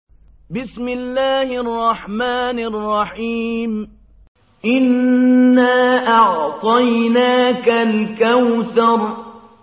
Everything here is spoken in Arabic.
إِنَّا أَعْطَيْنَاكَ الْكَوْثَرَ